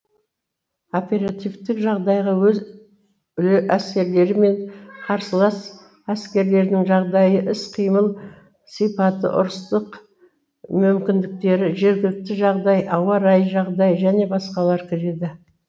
оперативтік жағдайға өз әскерлері мен қарсылас әскерлердің жағдайы іс қимыл сипаты ұрыстық мүмкіндіктері жергілікті жағдай ауа райы жағдайы және басқалар кіреді